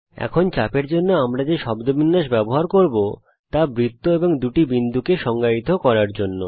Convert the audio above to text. এখন চাপের জন্য আমরা যে শব্দবিন্যাস ব্যবহার করব তা বৃত্ত এবং দুটি বিন্দুকে সংজ্ঞায়িত করার জন্যে